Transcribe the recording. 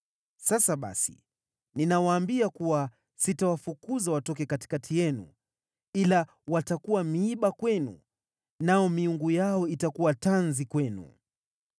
Sasa basi ninawaambia kuwa sitawafukuza watoke katikati yenu ila watakuwa miiba kwenu, nao miungu yao itakuwa tanzi kwenu.”